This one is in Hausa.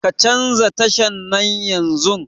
Ka canza tashan nan yanzun